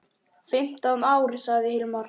Fimmtán ár, sagði Hilmar.